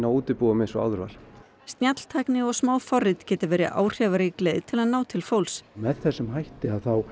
útibúum eins og áður var snjalltækni og smáforrit geti verið áhrifarík leið til að ná til fólks með þessum hætti